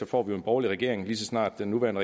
får en borgerlig regering lige så snart den nuværende